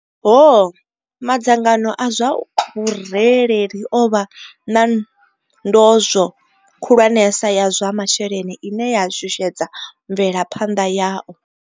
Ho, madzangano a zwa vhu rereli o vha na ndozwo khulwanesa ya zwa masheleni ine ya shushedza mvelaphanḓa yao.